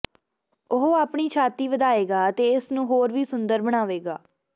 ਉਹ ਆਪਣੀ ਛਾਤੀ ਵਧਾਏਗਾ ਅਤੇ ਇਸ ਨੂੰ ਹੋਰ ਵੀ ਸੁੰਦਰ ਬਣਾਵੇਗਾ